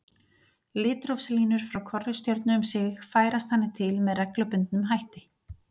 Litrófslínur frá hvorri stjörnu um sig færast þannig til með reglubundnum hætti.